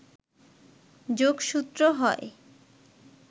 যোগসূত্র হয়